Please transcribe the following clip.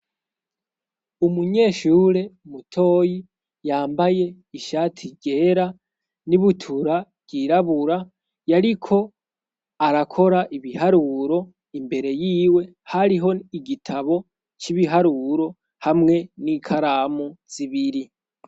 Umunyeshure mutoyi yambaye ishati yera n'ibutura ryirabura yariko arakora ibiharuro imbere y'iwe hariho igitabo c'ibiharuro hamwe n'ikaramu zibiri.